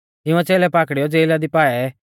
तिंउऐ च़ेलै पाकड़ीयौ ज़ेला दी पाऐ